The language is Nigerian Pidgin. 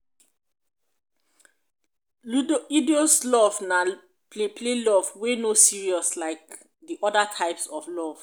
love na play play love wey no serious like de oda types of love